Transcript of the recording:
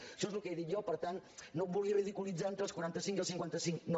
això és el que he dit jo per tant no em vulgui ridiculitzar entre els quaranta cinc i els cinquanta cinc no